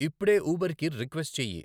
ఇప్పుడె ఉబర్కి రిక్వెస్ట్ చెయ్యి.